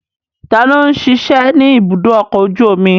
Ta ni ó ń ṣiṣẹ́ ní ibùdó ọkọ̀ ojú omi?